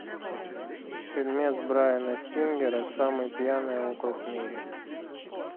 фильмец брайана сингера самый пьяный округ в мире